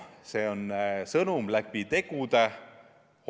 See on sõnum läbi tegude.